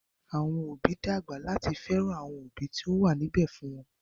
Àwọn òbí ń dàgbà láti fẹ́ràn àwọn òbí tí wọ́n wà níbẹ̀ fún wọn